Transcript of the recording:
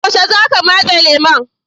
Yaushe za ka matse lemu?